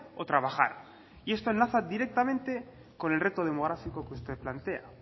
o trabajar y esto enlaza directamente con el reto demográfico que usted plantea